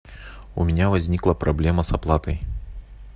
у меня возникла проблема с оплатой